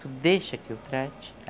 Tu deixa que eu trate?